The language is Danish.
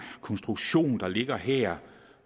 konstruktion der ligger her